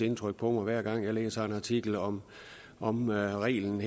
indtryk på mig hver gang jeg læser en artikel om om reglen